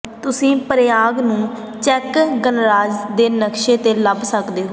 ਤੁਸੀਂ ਪ੍ਰਾਗ ਨੂੰ ਚੈੱਕ ਗਣਰਾਜ ਦੇ ਨਕਸ਼ੇ ਤੇ ਲੱਭ ਸਕਦੇ ਹੋ